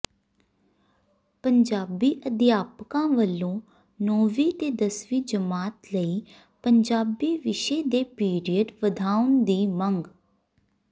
ਪੰਜਾਬੀ ਅਧਿਆਪਕਾਂ ਵੱਲੋਂ ਨੌਵੀਂ ਤੇ ਦਸਵੀਂ ਜਮਾਤ ਲਈ ਪੰਜਾਬੀ ਵਿਸ਼ੇ ਦੇ ਪੀਰੀਅਡ ਵਧਾਉਣ ਦੀ ਮੰਗ